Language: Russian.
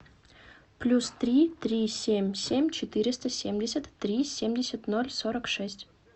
плюс три три семь семь четыреста семьдесят три семьдесят ноль сорок шесть